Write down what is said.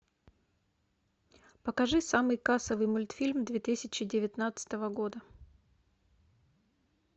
покажи самый кассовый мультфильм две тысячи девятнадцатого года